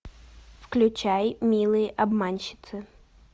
включай милые обманщицы